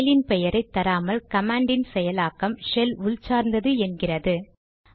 பைலின் பெயரை தராமல் கமாண்ட் யின் செயலாக்கம் ஷெல் உள் சார்ந்தது என்கிறது